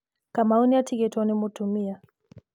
Kamau nĩ atigĩtwo nĩ mũtumia